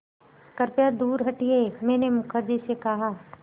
कृपया दूर हटिये मैंने मुखर्जी से कहा